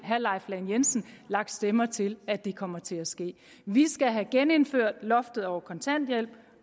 herre leif lahn jensen lagt stemmer til at det kommer til at ske vi skal have genindført loftet over kontanthjælpen